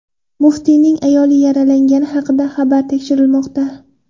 Muftiyning ayoli yaralangani haqidagi xabar tekshirilmoqda.